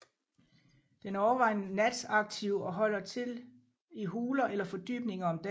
Den er overvejende nataktiv og holder til i huler eller fordybninger om dagen